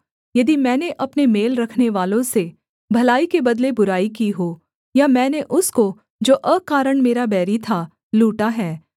यदि मैंने अपने मेल रखनेवालों से भलाई के बदले बुराई की हो या मैंने उसको जो अकारण मेरा बैरी था लूटा है